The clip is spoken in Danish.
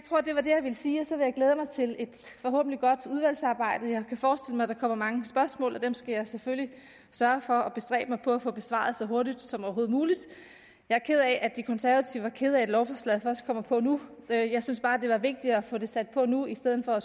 glæde mig til et forhåbentlig godt udvalgsarbejde jeg kan forestille mig at der kommer mange spørgsmål og dem skal jeg selvfølgelig sørge for at bestræbe mig på at få besvaret så hurtigt som overhovedet muligt jeg er ked af at de konservative var kede af at lovforslaget først kom på nu jeg synes bare det var vigtigt at få det sat på nu i stedet for at